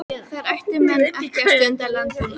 Þar ættu menn ekki að stunda landbúnað.